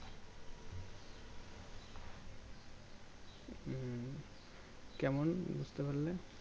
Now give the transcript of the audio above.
কেমন বুজতে পারলে